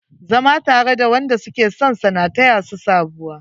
Zama tare da wanda suke sonsa na taya su sabuwa.